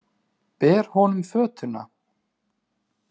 Ber honum fötuna.